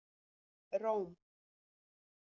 Róm